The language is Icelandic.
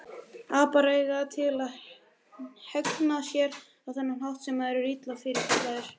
Apar eiga það til að hegða sér á þennan hátt þegar þeir eru illa fyrirkallaðir.